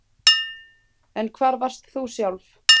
En hvar varst þú sjálf